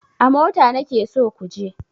A mota nake so ku je!